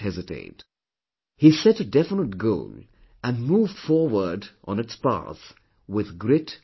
He set a definite goal and moved forward on its path with grit & determination